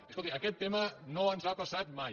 i escolti aquest tema no ens ha passat mai